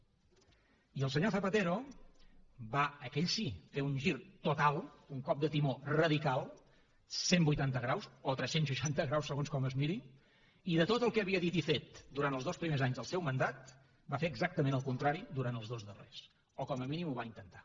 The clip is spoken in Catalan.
i el senyor zapatero va aquell sí fer un gir total un cop de timó radical cent vuitanta graus o tres cents i seixanta graus segons com es miri i de tot el que havia dit i fet durant els dos primers anys del seu mandat va fer exactament el contrari durant els dos darrers o com a mínim ho va intentar